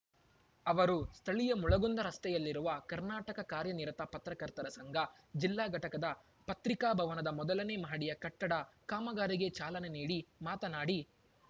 ಅವರು ಸ್ಥಳೀಯ ಮುಳಗುಂದ ರಸ್ತೆಯಲ್ಲಿರುವ ಕರ್ನಾಟಕ ಕಾರ್ಯನಿರತ ಪತ್ರಕರ್ತರ ಸಂಘ ಜಿಲ್ಲಾ ಘಟಕದ ಪತ್ರಿಕಾಭವನದ ಮೊದಲನೆ ಮಹಡಿಯ ಕಟ್ಟಡ ಕಾಮಗಾರಿಗೆ ಚಾಲನೆ ನೀಡಿ ಮಾತನಾಡಿ